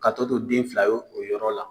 Ka tɔ to den fila ye o yɔrɔ la.